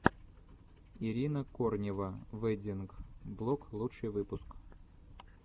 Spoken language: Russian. ирина корнева вэддинг блог лучший выпуск